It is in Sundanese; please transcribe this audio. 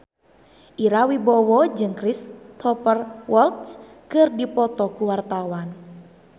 Ira Wibowo jeung Cristhoper Waltz keur dipoto ku wartawan